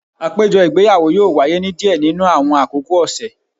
Apejọ igbeyawo yoo waye ni diẹ ninu awọn akoko ọsẹ